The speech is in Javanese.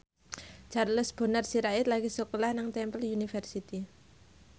Charles Bonar Sirait lagi sekolah nang Temple University